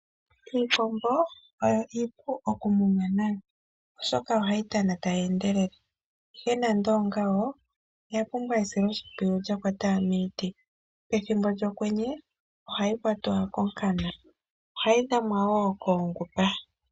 Iikombo oyo iipu okumunwa nayo oshoka oha yi tana ta yi endelele, ihe nande ongawo oya pumbwa esiloshimpwiyu lya kwata miiti, pethimbo lyokwenye oha yi kwatwa konkana, oha yi dhamwa woo koongupa.